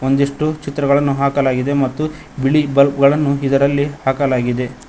ಒಂದಿಷ್ಟು ಚಿತ್ರಗಳನ್ನು ಹಾಕಲಾಗಿದೆ ಮತ್ತು ಬಿಳಿ ಬಲ್ಬ್ ಗಳನ್ನು ಇದರಲ್ಲಿ ಹಾಕಲಾಗಿದೆ.